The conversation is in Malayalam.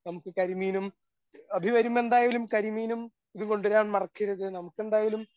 നമുക്ക് കരിമീനും അഭി വരുമ്പോ എന്തായാലും കരിമീനും ഇതും കൊണ്ടുവരാൻ മറക്കരുത്. നമുക്കെന്തായാലും